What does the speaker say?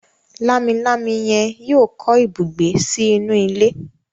Lámilámi yen yíò kọ ibùgbé sí inú ilé.